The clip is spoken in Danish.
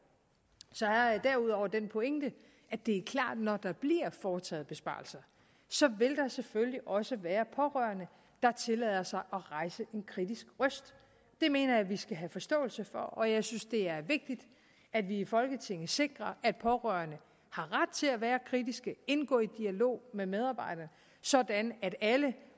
så havde jeg derudover den pointe at det er klart når der bliver foretaget besparelser selvfølgelig også vil være pårørende der tillader sig at rejse en kritisk røst det mener jeg vi skal have forståelse for og jeg synes det er vigtigt at vi i folketinget sikrer at pårørende har ret til at være kritiske indgå i dialog med medarbejderne sådan at alle